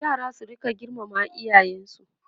yara su rinka girmama iyayensu